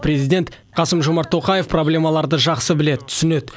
президент қасым жомарт тоқаев проблемаларды жақсы біледі түсінеді